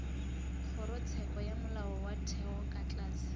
kgorotsheko ya molaotheo ka tlase